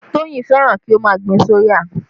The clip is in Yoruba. Toyin fẹ́ràn kí ó má gbin soya